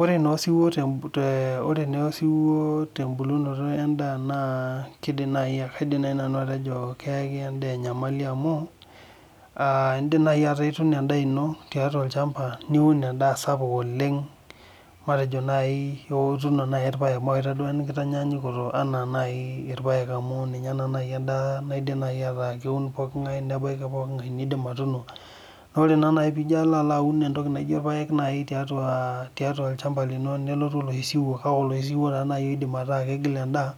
Ore naa osiwuo tembolunoto endaa naa kaidim najii nanu atejo keyaki endaa enyamali amu indim naaji ataa ituuno endaa ino tiatua olchamba niun endaa sapuk oleng matejo naaji ituuno ilpaek mawaita duo enkitanyanyukoto enaa naai ilpaek amuu ninyee naa naaji endaa naidim ataa keun pookin ngae nebaiki pookin ngae nindiim aatuno na oree naa naji tenijo alo aun entoki naijo ilpaek naai tiatua olchamba lino neletu oloshi siwuo kake oloshi siwuo taa naaji oidim ataa keidim atigila endaa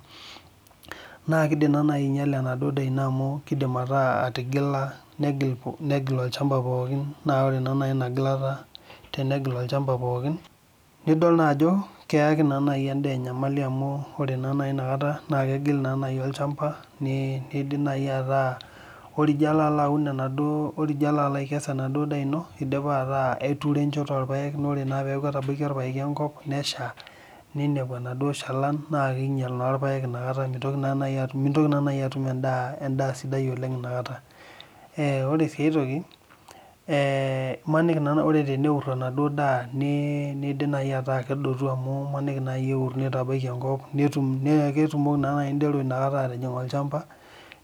naa keidiim naa naaji ainyala enaduo daa ino amuu keidim atigila negil olchamba pookin naa oree naa naji ina gilata tenegil ochamba pookin nidol ajo keyakii naa endaa enyamali amu oree naa innakata kegil naa olchamba neidim naaji ataa ore ijo alo aun enaduo ore ijo alo akees enaduo daa inoo eidipaa aatuuro enchoto oolpaek ore naa ijo etabaikia olpaeki enkop neshaa neinepu enaduo shalan naa keinyal naa ilpaek ometa mintooki naa atum endaa sidai oleng nakataa , oree si aitoki oree teneur enaduo daa neidim naaji ataa kedotu amuu imaanikii naaji neur neitabaki enkop naa kutuumokii naa naaji indero atijing olchamba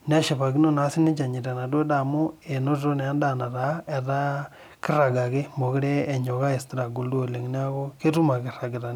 neshipakino naa sinche enyita enaduo daa amu enotito naa endaa netaa keirag ake mekure enyok aistruggle duo oleng neeku ketum ake eiragita.